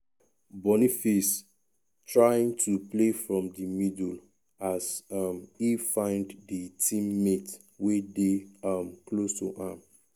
boniface trying to play from di middle as um e find di team mate wey dey um close to am.